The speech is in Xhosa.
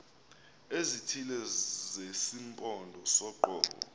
ezithile zesimpondo soqobo